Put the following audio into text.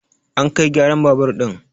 an kai gyaran babur ɗin!